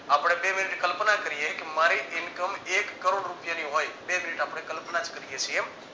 આપણે બે એવી કલ્પના કરીએ કે મારી income એક કરોડ રૂપિયાની હોય તેવી આપણે કલ્પના જ કરીએ